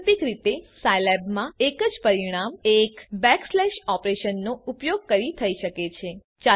વૈકલ્પિક રીતે સાઈલેબમાં એ જ પરિણામ એક બેકસ્લેશ ઓપરેશનનો ઉપયોગ કરી થઈ શકે છે